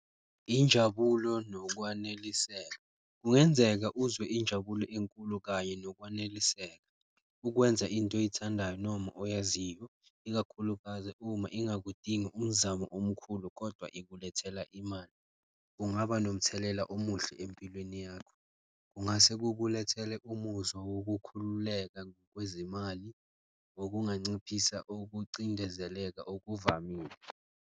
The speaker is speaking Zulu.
Injabulo nokwaneliseka kungenzeka uzwe injabulo enkulu kanye nokwaneliseka ukwenza into oyithandayo noma oyaziyo, ikakhulukazi uma ingakudingi umzamo omkhulu kodwa ikulethela imali, kungaba nomthelela omuhle empilweni yakho. Kungase kukulethele umuzwa wokukhululeka ngokwezimali, okunganciphisa ukucindezeleka okuvamile.